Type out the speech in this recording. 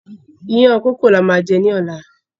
Ìyàn kókò ni a má jẹ́ ní ọ̀la.